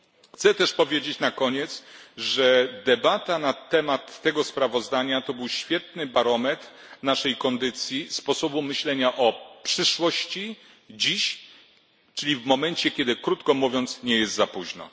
Chcę też powiedzieć na koniec, że debata na temat tego sprawozdania to był świetny barometr naszej kondycji, sposobu myślenia o przyszłości dziś, czyli w momencie, kiedy krótko mówiąc nie jest za późno.